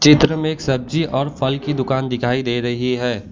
चित्र में एक सब्जी और फल की दुकान दिखाई दे रही है।